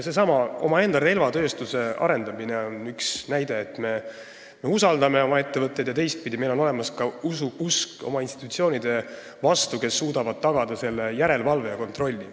Seesama omaenda relvatööstuse arendamine on üks näide, et me usaldame oma ettevõtteid ja teistpidi on meil olemas usk oma institutsioonide vastu, kes suudavad tagada järelevalve ja kontrolli.